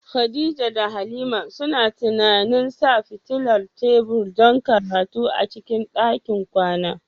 Khadija da Halima suna tunanin sa fitilar tebur don karatu a cikin ɗakin kwana.